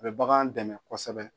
A bɛ bagan dɛmɛ kosɛbɛ